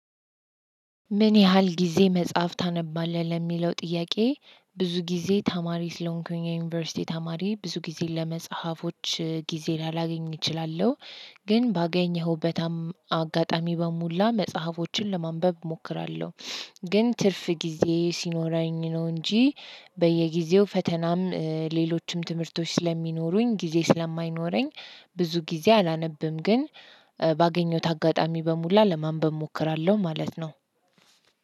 ምን ያህል ጊዜ መጽሐፍ ታነባለህ ለሚለው ጥያቄ? ብዙ ጊዜ ተማሪ ስለሆንኩኝ ዩኒቨርሲቲ ተማሪ ብዙ ጊዜ ለመጽሐፎች ጊዜ ላላገኝ እችላለሁ። ግን ባገኘኸው በጣም አጋጣሚ በሙላ መጽሐፎችን ለማንበብ እሞክራለሁ። ግን ትርፍ ጊዜ ሲኖረኝ ነው እንጂ በየጊዜው ፈተናም ሌሎችም ትምህርቶች ስለሚኖሩኝ ጊዜ ስለማይኖረኝ። ብዙ ጊዜ አላነብም ግን ባገኘሁት አጋጣሚ በሙላ ለማንበብ እሞክራለሁ። ማለት ነው